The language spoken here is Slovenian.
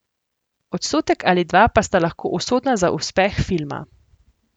Odstotek ali dva pa sta lahko usodna za uspeh filma.